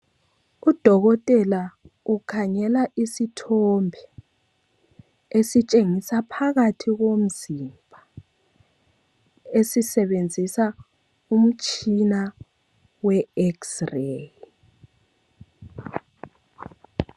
Udokotela ukhangela isithombe esitshengisa phakathi komzimba esisebenzisa umtshina we x- ray